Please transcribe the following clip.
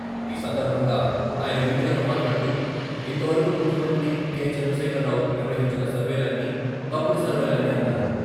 ఈ సందర్భంగా ఆయన మీడియాతో మాట్లాడుతూ ఇంతవరకు ముఖ్యమంత్రి కె.చంద్రశేఖర్రావు నిర్వహించిన సర్వేలన్నీ తప్పుడు సర్వేలని అన్నారు.